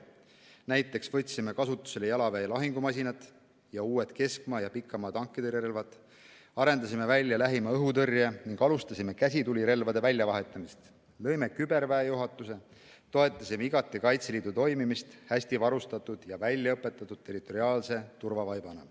Näiteks võtsime kasutusele jalaväe lahingumasinad ja uued keskmaa ja pikamaa tankitõrjerelvad, arendasime välja lähimaa õhutõrje ning alustasime käsitulirelvade väljavahetamist, lõime küberväejuhatuse, toetasime igati Kaitseliidu toimimist hästivarustatud ja väljaõpetatud territoriaalse turvavaibana.